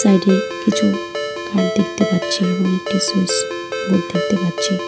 এটি কিছু কার্ড দেখতে পাচ্ছি এবং একটি সুইস বোর্ড দেখতে পাচ্ছি।